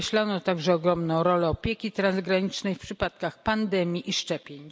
Podkreślono także ogromną rolę opieki transgranicznej w przypadkach pandemii i szczepień.